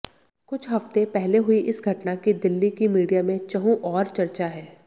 कुछ हफ्ते पहले हुई इस घटना की दिल्ली की मीडिया में चहुंओर चर्चा है